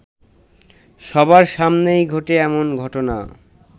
সবার সামনেই ঘটে এমন ঘটনা